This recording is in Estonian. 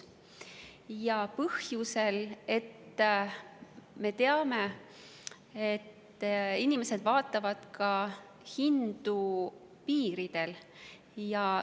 Seda põhjusel, et me teame, et inimesed vaatavad hindu ka piiridel.